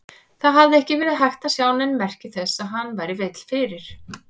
Það hafði ekki verið hægt að sjá nein merki þess að hann væri veill fyrir.